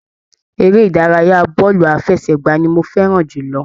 Eré ìdárayá bọọlu àfẹ́sẹ̀gbà ní mò fẹràn jùlọ.